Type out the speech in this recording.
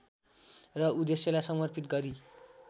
र उद्देश्यलाई समर्पित गरी